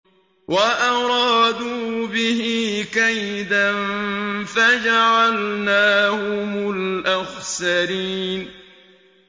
وَأَرَادُوا بِهِ كَيْدًا فَجَعَلْنَاهُمُ الْأَخْسَرِينَ